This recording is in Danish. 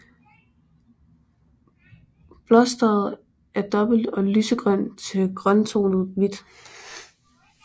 Blosteret er dobbelt og lysegrønt til grønttonet hvidt